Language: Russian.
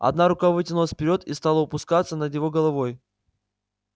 одна рука вытянулась вперёд и стала упускаться над его головой